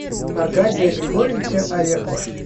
аркадия григорьевича орехова